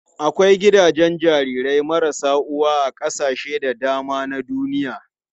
Akwai gidajen jarirai marasa uwa a kasashe da dama na duniya.